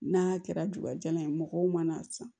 N'a kɛra dugujalan ye mɔgɔw mana san